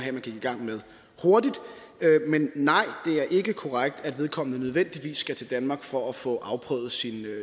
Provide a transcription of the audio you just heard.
at man gik i gang med hurtigt men nej det er ikke korrekt at vedkommende nødvendigvis skal til danmark for at få afprøvet sin